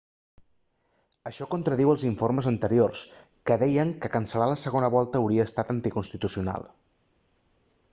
això contradiu els informes anteriors que deien que cancel·lar la segona volta hauria estat anticonstitucional